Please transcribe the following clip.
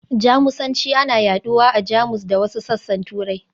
Jamusanci ana yaɗuwa a Jamus da wasu sassan Turai.